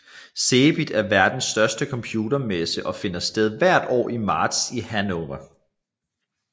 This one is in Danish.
CeBIT er verdens største computermesse og finder sted hvert år i marts i Hannover